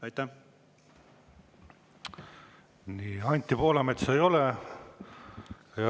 Anti Poolametsa ei ole.